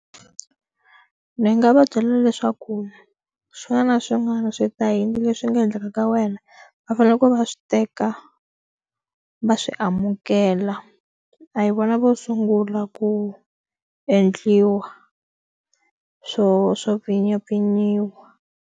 Ni nga va byela leswaku xana swin'wana swi yini leswi nga endleka ka wena va faneleke va swi teka va swi amukela a hi vona vo sungula ku endliwa swo swo pfinyapfinyiwa.